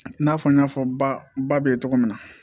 I n'a fɔ n y'a fɔ ba bɛ ye cogo min na